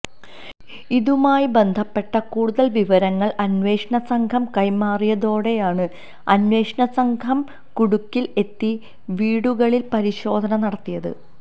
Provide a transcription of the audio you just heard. ഇതുമായി ബന്ധപ്പെട്ട കൂടുതൽ വിവരങ്ങൾ അന്വേഷണ സംഘം കൈമാറിയതോടെയാണ് അന്വേഷണ സംഘം കുടകിൽ എത്തി വീടുകളിൽ പരിശോധന നടത്തിയത്